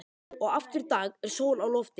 Og aftur í dag er sól á lofti.